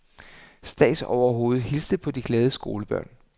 Statsoverhovedet hilste på de glade skolebørn.